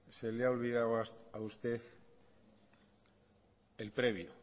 se le ha olvidado a usted el previo